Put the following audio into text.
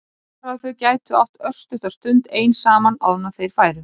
Bara að þau gætu átt örstutta stund ein saman áður en þeir færu.